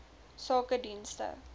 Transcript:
sakedienste